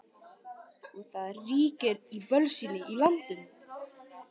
Og það ríkir bölsýni í landinu.